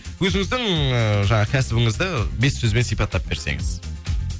өзіміздің ііі жаңағы кәсібіңізді бес сөзбен сипаттап берсеңіз